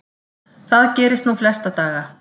Það gerist nú flesta daga.